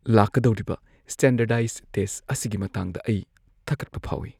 ꯂꯥꯛꯀꯗꯧꯔꯤꯕ standardize test ꯑꯁꯤꯒꯤ ꯃꯇꯥꯡꯗ ꯑꯩ ꯊꯀꯠꯄ ꯐꯥꯎꯢ ꯫